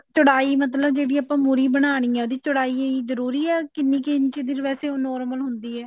ਚੜਾਈ ਜਿਹੜੀ ਮਤਲਬ ਮੁਰ੍ਹੀ ਬਣਾਉਣੀ ਹੈ ਉਹਦੀ ਚੜਾਈ ਜਰੂਰੀ ਹੈ ਕਿੰਨੀ ਕੁ ਇੰਚ ਦੀ ਵੇਸੇ ਉਹ normal ਹੁੰਦੀ ਹੈ